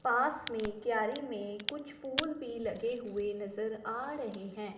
पास में क्यारी में कुछ फूल भी लगे हुए नजर आ रहे हैं।